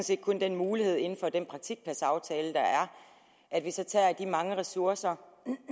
set kun den mulighed inden for den praktikpladsaftale der er at vi så tager de mange ressourcer